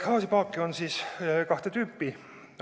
Gaasipaake on kahte tüüpi.